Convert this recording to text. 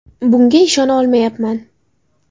Bunga ishona olmayapman!